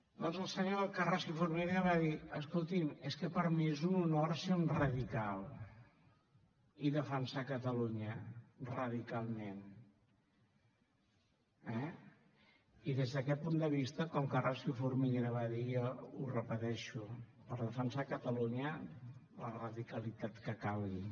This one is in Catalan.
doncs el senyor carrasco i formiguera va dir escoltin és que per a mi és un honor ser un radical i defensar catalunya radicalment eh i des d’aquest punt de vista com carrasco i formiguera va dir jo ho repeteixo per defensar catalunya la radicalitat que calgui